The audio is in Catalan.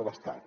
de l’estat